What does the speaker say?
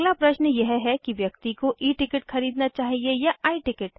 अगला प्रश्न यह है कि व्यक्ति को E टिकट खरीदना चाहिए या I टिकट